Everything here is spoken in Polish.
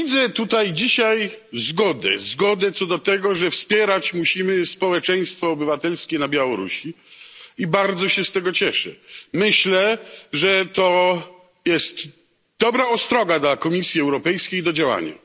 Widzę tutaj dzisiaj zgodę, zgodę co do tego, że wspierać musimy społeczeństwo obywatelskie na Białorusi. I bardzo się z tego cieszę. Myślę, że to jest dobra ostroga dla Komisji Europejskiej do działania.